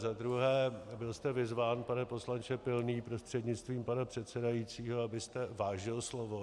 Za druhé, byl jste vyzván, pane poslanče Pilný prostřednictvím pana předsedajícího, abyste vážil slovo.